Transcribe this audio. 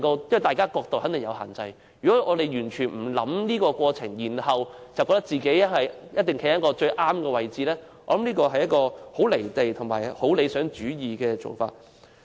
因為大家的角度肯定各有限制，如果我們完全不考慮這個過程，覺得自己一定站在最正確的位置，我認為這是很"離地"及理想主義的做法。